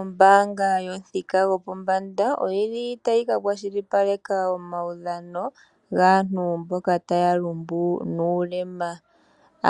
Ombanga yo pamuthika go pombanda oyili tayi ka kwashilipaleka omaudhano gaantu mboka taya lumbu nuulema,